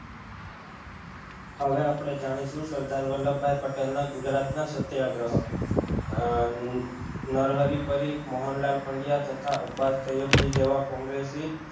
હવે આપણે જાણીશું સરદાર વલ્લભભાઈ પટેલ ના ગુજરાત ના સત્યાગ્રહ અમ નરહરિ પરીખ મોહનલાલ પંડયા તથા અબાસતયબજી જેવા કોંગ્રેસી